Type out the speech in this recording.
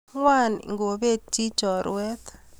Ng'wan ipet chi chorwet